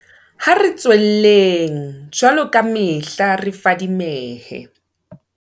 Ha re tswelleng, jwaloka kamehla, re fadimehe.